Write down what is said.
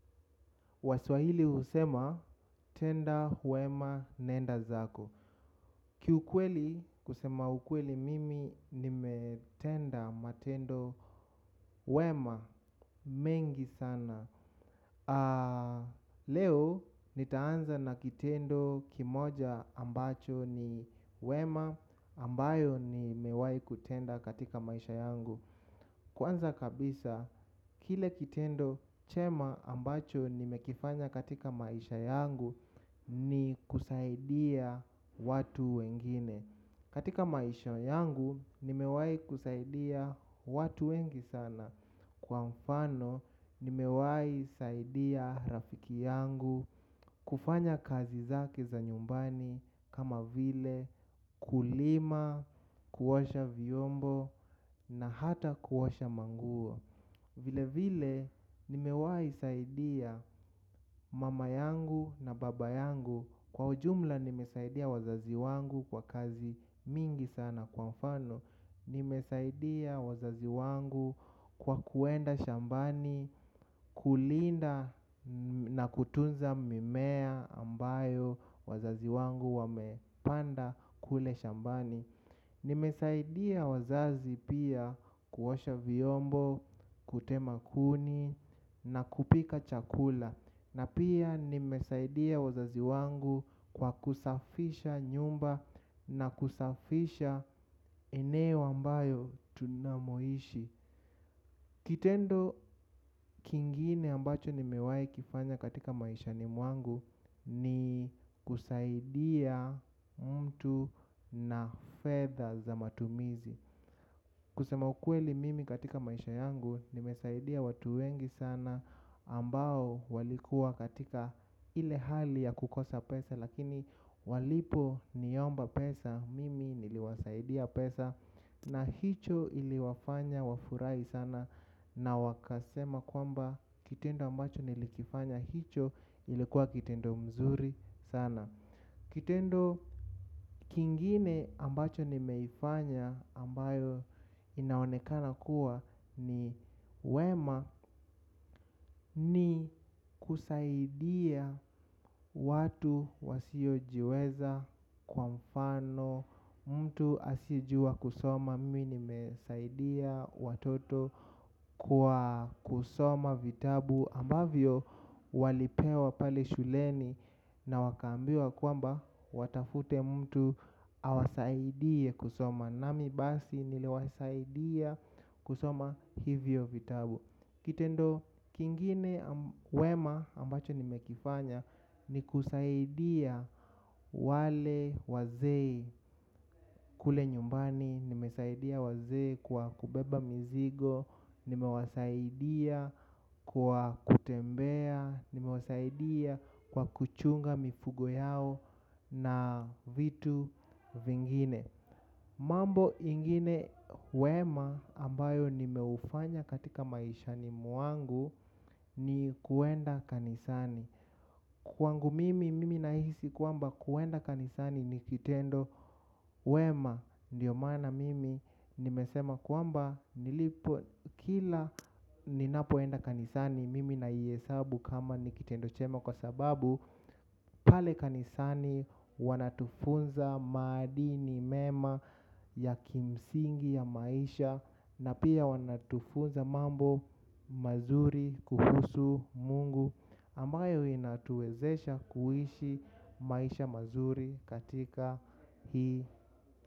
Waswahili husema tenda wema nenda zako. Kiukweli kusema ukweli mimi nimetenda matendo wema mengi sana. Leo nitaanza na kitendo kimoja ambacho ni wema ambayo ni mewahi kutenda katika maisha yangu. Kwanza kabisa, kile kitendo chema ambacho nime kifanya katika maisha yangu ni kusaidia watu wengine. Katika maisha yangu, nimewahi kusaidia watu wengi sana. Kwa mfano, nimewahi saidia rafiki yangu kufanya kazi zake za nyumbani kama vile kulima, kuosha vyombo na hata kuosha manguo. Vile vile nimewahi saidia mama yangu na baba yangu kwa ujumla nimesaidia wazazi wangu kwa kazi mingi sana kwa mfano. Nimesaidia wazazi wangu kwa kuenda shambani kulinda na kutunza mimea ambayo wazazi wangu wamepanda kule shambani. Nimesaidia wazazi pia kuosha vyombo, kutema kuni na kupika chakula. Na pia nimesaidia wazazi wangu kwa kusafisha nyumba na kusafisha eneo ambayo tunamoishi. Kitendo kingine ambacho nimewahi kifanya katika maishani mwangu ni kusaidia mtu na fedha za matumizi. Kusema ukweli mimi katika maisha yangu nimesaidia watu wengi sana ambao walikuwa katika ile hali ya kukosa pesa lakini walipo niomba pesa mimi niliwasaidia pesa na hicho iliwafanya wafurahi sana na wakasema kwamba kitendo ambacho nilikifanya hicho ilikuwa kitendo mzuri sana. Kitendo kingine ambacho nimeifanya ambayo inaonekana kuwa ni wema ni kusaidia watu wasiojiweza kwa mfano mtu asiyejua kusoma mimi nimesaidia watoto kwa kusoma vitabu ambavyo walipewa pale shuleni. Na wakaambiwa kwamba watafute mtu awasaidie kusoma. Nami basi niliwasaidia kusoma hivyo vitabu. Kitendo kingine wema ambacho nime kifanya ni kusaidia wale wazee kule nyumbani. Nimesaidia wazee kwa kubeba mizigo. Nimewasaidia kwa kutembea. Nimewasaidia kwa kuchunga mifugo yao na vitu vingine. Mambo ingine wema ambayo nimeufanya katika maishani mwangu ni kuenda kanisani. Kwangu mimi mimi nahisi kwamba kuenda kanisani ni kitendo wema. Ndiyo maana mimi nimesema kwamba nilipo kila ninapoenda kanisani mimi naihesabu kama ni kitendo chema kwa sababu pale kanisani wanatufunza maadini mema ya kimsingi ya maisha na pia wanatufunza mambo mazuri kuhusu mungu ambayo inatuwezesha kuishi maisha mazuri katika hii.